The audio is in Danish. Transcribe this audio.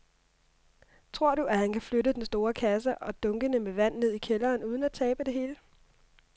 Tror du, at han kan flytte den store kasse og dunkene med vand ned i kælderen uden at tabe det hele?